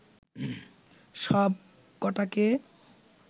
সব কটাকে